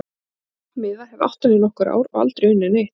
Ég er með trompmiða, hef átt hann í nokkur ár og aldrei unnið neitt.